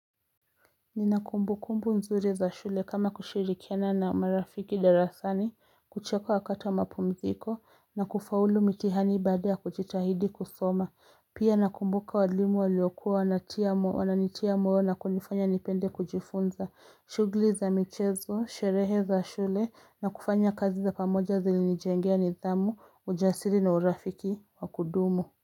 Nina kumbu kumbu mzuri za shule kama kushirikiana na marafiki darasani kucheka wakata mapumziko na kufaulu mitihani baada kujitahidi kusoma pia nakumbuka walimu waliokua wananitia moyo na kunifanya nipende kujifunza shughuli za michezo sherehe za shule na kufanya kazi za pamoja zilinijengea nidhamu ujasiri na urafiki wa kudumu.